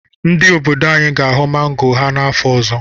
Ndị obodo anyị ga-aghọ mango ha afọ ọzọ.